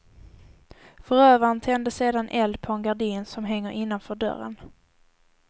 Förövaren tände sedan eld på en gardin som hänger innanför dörren.